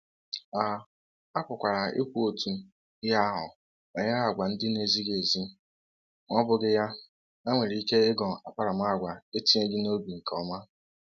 A um pụkwara ikwu otu um ihe ahụ banyere àgwà ndị na-ezighị ezi. Ma ọ bụghị um ya, ha nwere ike ịghọ akparamaagwa etinyeghị n’obi nke ọma.